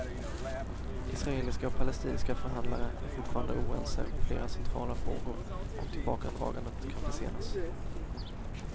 Israeliska och palestinska förhandlare är fortfarande oense om flera centrala frågor och tillbakadragandet kan försenas.